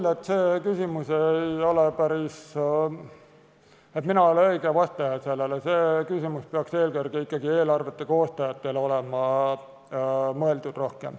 Ma arvan, et mina ei ole päris õige vastaja, see küsimus peaks olema mõeldud ikkagi eelkõige eelarve koostajatele.